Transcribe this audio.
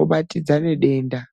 obatidzane denda